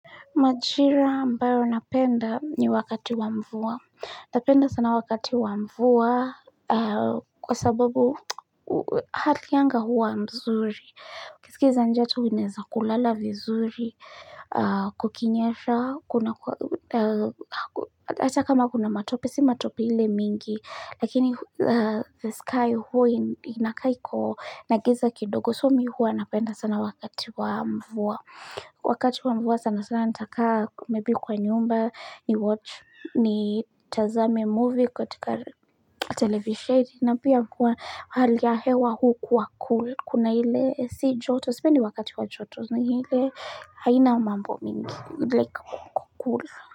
Majira ambayo napenda ni wakati wa mvua. Napenda sana wakati wa mvua kwa sababu hali ya anga huwa mzuri. Ukisikiza joto unaeza kulala vizuri. Kukinyesha, kunakuwa, hata kama kuna matope, si matope ile mingi. Lakini the sky huo inakaa iko na giza kidogo. So mi huwa napenda sana wakati wa mvua. Wakati wa mvua sana sana nitakaa maybe kwa nyumba ni watch ni tazame movie katika televisheni na pia kuwa hali ya hewa hukuwa cool kuna ile si joto sipendi wakati wa joto ni ile haina mambo mingi like cool.